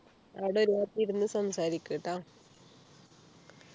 അവിടെ ഒരു ഭാഗത്ത് ഇരുന്ന് സംസാരിക്കു ട്ടാ